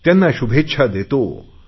त्यांना शुभेच्छा देतो